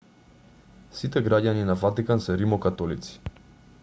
сите граѓани на ватикан се римокатолици